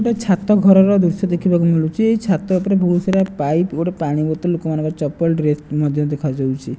ଗୋଟେ ଛାତ ଘର ଦୃଶ୍ୟ ଦେଖିବାକୁ ମିଳୁଚି। ଏହି ଛାତ ଉପରେ ବହୁତ ସାରା ପାଇପ ଗୋଟେ ପାଣି ବୋତଲ ଲୋକମାନଙ୍କର ଚପଲ ଡ୍ରେସ ମଧ୍ୟ ଦେଖାଯାଉଛି।